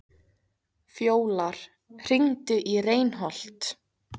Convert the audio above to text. Fjólar, hringdu í Reinholt.